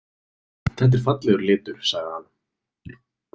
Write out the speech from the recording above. Þetta er fallegur litur, sagði hann.